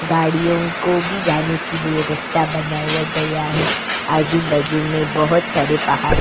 गाड़ियों को भी जाने के लिए रस्ता बनाया गया है आजू-बाजू में बहुत सारे पहाड़ --